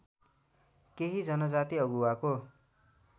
केही जनजाति अगुवाको